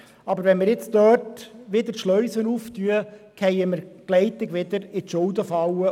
Aber wenn wir dort die Schleusen jetzt wieder öffnen, fallen wir bald wieder in die Schuldenfalle.